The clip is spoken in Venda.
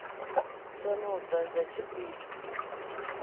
thome u ḓadza tshipi ḓa